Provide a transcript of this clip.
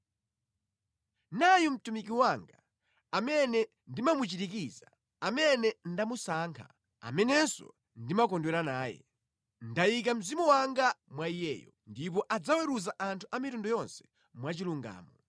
“Nayu mtumiki wanga, amene ndimamuchirikiza, amene ndamusankha, amenenso ndimakondwera naye. Ndayika Mzimu wanga mwa Iyeyo, ndipo adzaweruza anthu a mitundu yonse mwachilungamo.